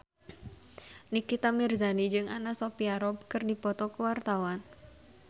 Nikita Mirzani jeung Anna Sophia Robb keur dipoto ku wartawan